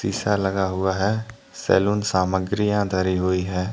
ईसा लगा हुआ है। सैलून सामग्रियां धरी हुई हैं।